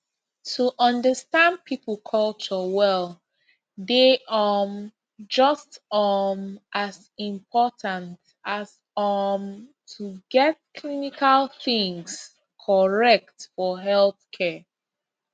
to understand people culture well dey um just um as important as um to get clinical things correct for healthcare